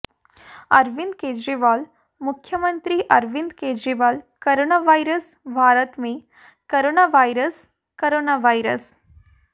अरविंद केजरीवाल मुख्यमंत्री Arvind Kejriwal corona virus Bharat में corona virus coronavirus